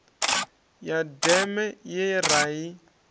ya deme ye ra i